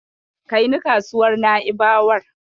Kai ni kasuwar Na'ibawar.